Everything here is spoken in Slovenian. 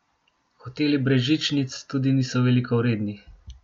Hoteli brez žičnic tudi niso veliko vredni.